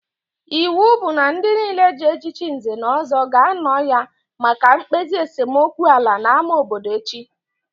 Iwu bụ na ndị nile ji echichi Nze na Ọzọ ga-anọ ya maka mkpezi esemokwu ala n'ámá obodo echi!